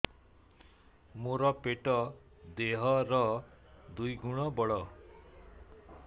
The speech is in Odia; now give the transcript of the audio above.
ମୋର ପେଟ ଦେହ ର ଦୁଇ ଗୁଣ ବଡ